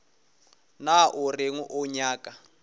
na o reng o nyaka